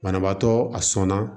Banabaatɔ a sɔnna